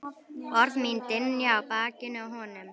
Orð mín dynja á bakinu á honum.